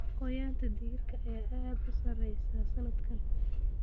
Goynta digirta ayaa aad u sareysa sanadkan.